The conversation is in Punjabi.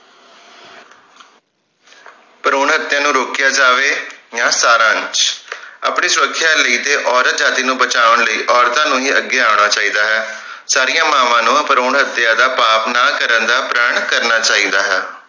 ਭਰੂਣ ਹਤਿਆ ਨੂੰ ਰੋਕਿਆ ਜਾਵੇ ਯਾ ਸਾਰਾਂਸ਼ ਆਪਣੀ ਸੁਰਖਿਆ ਲਈ ਤੇ ਔਰਤ ਜਾਤਿ ਨੂੰ ਬਚਾਉਣ ਲਈ ਔਰਤਾਂ ਨੂੰ ਹੀ ਅੱਗੇ ਆਉਣਾ ਚਾਹੀਦਾ ਹੈ ਸਾਰੀਆਂ ਮਾਵਾਂ ਨੂੰ ਭਰੂਣ ਹਤਿਆ ਦਾ ਪਾਪ ਨਾ ਕਰਨ ਦਾ ਪ੍ਰਣ ਕਰਨਾ ਚਾਹੀਦਾ ਹੈ